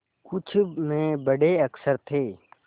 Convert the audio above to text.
कुछ में बड़े अक्षर थे